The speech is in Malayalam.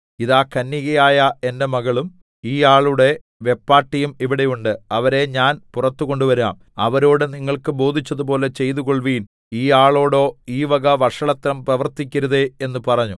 ഇതാ കന്യകയായ എന്റെ മകളും ഈയാളുടെ വെപ്പാട്ടിയും ഇവിടെ ഉണ്ട് അവരെ ഞാൻ പുറത്ത് കൊണ്ടുവരാം അവരോട് നിങ്ങൾക്ക് ബോധിച്ചതുപോലെ ചെയ്തുകൊൾവിൻ ഈ ആളോടോ ഈ വക വഷളത്വം പ്രവർത്തിക്കരുതേ എന്ന് പറഞ്ഞു